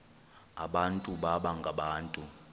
abantu baba ngabantu